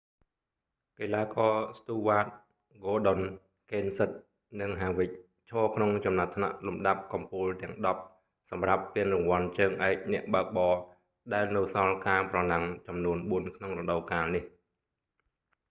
កីឡាករ ស៊្ទូវ៉ាត stewart ហ្គ័រដុន gordon កេនសិត kenseth និង ហាវិក harvick ឈរក្នុងចំណាត់ថ្នាក់លំដាប់កំពូលទាំងដប់សម្រាប់ពានរង្វាន់ជើងឯកអ្នកបើកបរ ដែលនៅសល់ការប្រណាំងចំនួនបួនក្នុងរដូវកាលនេះ